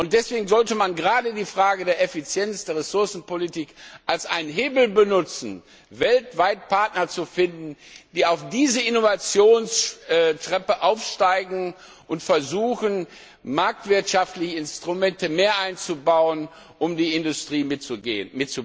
Deswegen sollte man gerade die Frage der Effizienz der Ressourcenpolitik als einen Hebel benutzen, weltweit Partner zu finden, die auf diese Innovationstreppe aufsteigen und versuchen, mehr marktwirtschaftliche Instrumente einzubauen, um die Industrie mitzuziehen.